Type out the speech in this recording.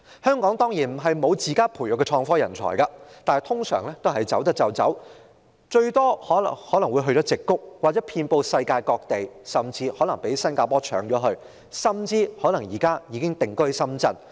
香港當然不是沒有自家培育的創科人才，但通常可以離港的也會離港，最多人會前往矽谷，而他們實際上遍布世界各地，甚至可能被新加坡搶走，或是已經定居深圳。